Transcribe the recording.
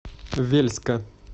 вельска